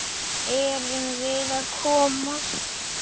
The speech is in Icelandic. Erum við að koma?